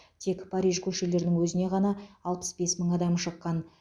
тек париж көшелерінің өзіне ғана алпыс бес мың адам шыққан